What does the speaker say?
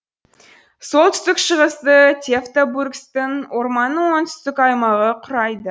солтүстік шығысты тевтобургсктың орманның оңтүстік аймағы құрайды